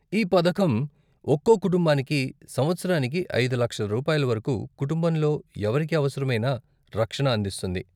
ఈ పథకం ఒక్కో కుటుంబానికి సంవత్సరానికి ఐదు లక్షలు రూపాయల వరకు, కుటుంబంలో ఎవరికి అవసరమైనా, రక్షణ అందిస్తుంది.